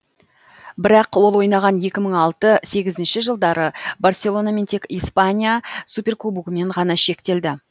бірақ ол ойнаған екі мың алты сегізінші жылдары барселона тек испания суперкубогымен ғана шектелді